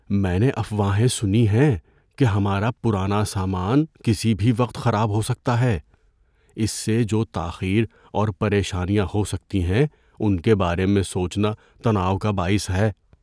‏میں نے افواہیں سنی ہیں کہ ہمارا پرانا سامان کسی بھی وقت خراب ہو سکتا ہے۔ اس سے جو تاخیر اور پریشانیاں ہو سکتی ہیں ان کے بارے میں سوچنا تناؤ کا باعث ہے۔